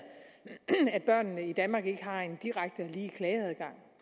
at børnene i danmark ikke har en direkte og lige klageadgang